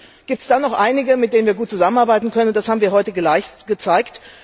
Aber zum Glück gibt es da noch einige, mit denen wir gut zusammenarbeiten können, das haben wir heute gezeigt.